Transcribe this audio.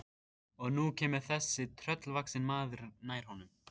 Og nú kemur þessi tröllvaxni maður nær honum.